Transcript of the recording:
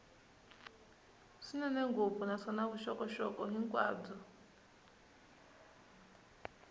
swinene ngopfu naswona vuxokoxoko hinkwabyo